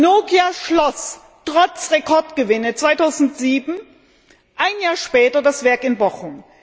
Nokia schloss trotz Rekordgewinnen 2007 ein Jahr später das Werk in Bochum.